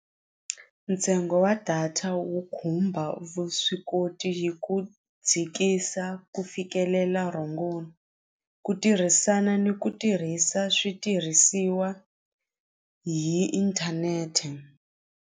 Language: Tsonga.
Ntsengo wa data wu khumba vuswikoti hi ku dzikisa ku fikelela rhongo ku tirhisana ni ku tirhisa switirhisiwa hi inthanete.